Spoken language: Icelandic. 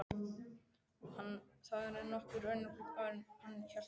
Hann þagði nokkur augnablik áður en hann hélt áfram.